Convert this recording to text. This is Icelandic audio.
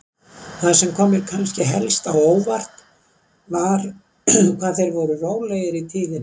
Það sem kom mér kannski helst á óvart var hvað þeir voru rólegir í tíðinni.